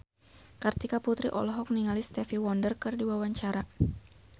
Kartika Putri olohok ningali Stevie Wonder keur diwawancara